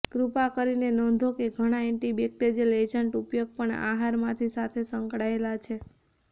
કૃપા કરીને નોંધો કે ઘણા એન્ટીબેક્ટેરિયલ એજન્ટ ઉપયોગ પણ આહારમાંથી સાથે સંકળાયેલ છે